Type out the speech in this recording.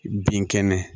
Bin kɛnɛ